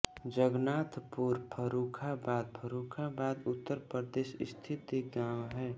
जगन्नाथपुर फर्रुखाबाद फर्रुखाबाद उत्तर प्रदेश स्थित एक गाँव है